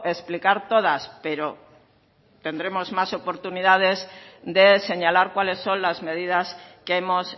explicar todas pero tendremos más oportunidades de señalar cuáles son las medidas que hemos